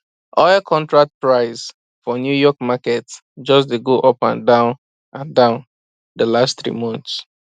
oil contract price for new york market just de go up and down and down the last three months